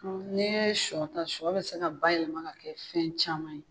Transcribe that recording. N'e ye shɔ ta shɔ bɛ se ka bayɛlɛma ka kɛ fɛn caman ye.